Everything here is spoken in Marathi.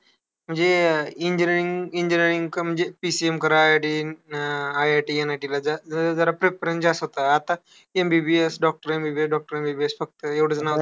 म्हणजे engineering-engineering करून जे PCM करा आधी. IIT, MIT ला जा. म्हणजे preference जास्त होता. आता MBBS doctor वेग-वेगळे doctor वेग-वेगळे फक्त एवढीच नावं